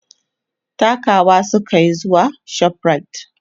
takawa sukayi zuwa Shoprite